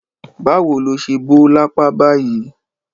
Báwo lo ṣe bó lápá báyìí?